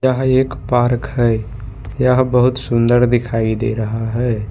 यह एक पार्क है यह बहुत सुंदर दिखाई दे रहा है।